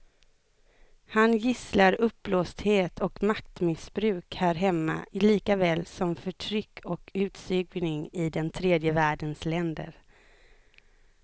Han gisslar uppblåsthet och maktmissbruk här hemma likaväl som förtryck och utsugning i den tredje världens länder.